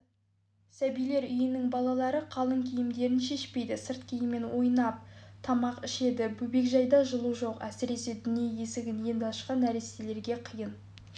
сәбилер үйінің балалары қалың киімдерін шешпейді сырт киіммен ойнап тамақ ішеді бөбекжайда жылу жоқ әсіресе дүние есігін енді ашқан нәрестелерге қиын